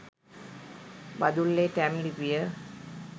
බදුල්ලේ ටැම් ලිපිය